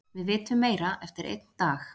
Við vitum meira eftir einn dag.